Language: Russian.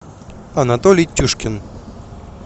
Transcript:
анатолий тюшкин